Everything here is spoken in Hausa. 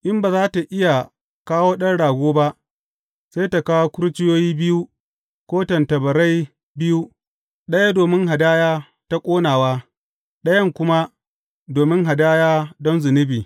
In ba za tă iya kawo ɗan rago ba, sai ta kawo kurciyoyi biyu ko tattabarai biyu, ɗaya domin hadaya ta ƙonawa ɗayan kuma domin hadaya don zunubi.